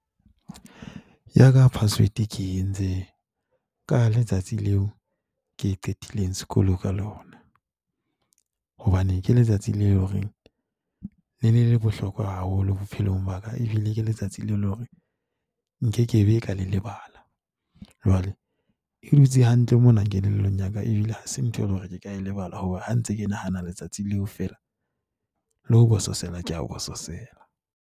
Ya ka password ke entse ka letsatsi leo ke qetileng sekolo ka lona, hobane ke letsatsi leo hore le ne le le bohlokwa haholo bophelong ba ka. Ebile ke letsatsi leo e leng hore nkekebe ka le lebala. Jwale e dutse hantle mona kelellong ya ka, ebile ha se ntho e le hore ke ka lebala hore ha ntse ke nahana letsatsi leo feela, le ho bososela ke a bososela.